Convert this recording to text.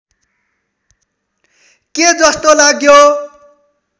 के जस्तो लाग्यो